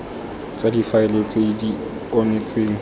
tsa difaele tse di onetseng